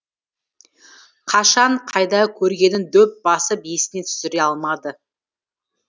қашан қайда көргенін дөп басып есіне түсіре алмады